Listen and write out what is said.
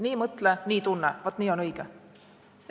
Nii mõtle, nii tunne – vaat nii on õige!